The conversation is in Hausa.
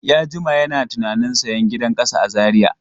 Ya jima yana tunanin sayan gidan ƙasa a Zariya.